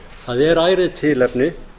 það er ærið tilefni